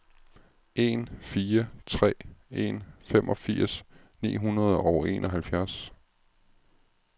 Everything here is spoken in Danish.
en fire tre en femogfirs ni hundrede og enoghalvfjerds